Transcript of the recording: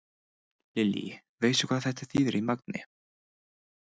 Lillý: Veistu hvað þetta þýðir í magni?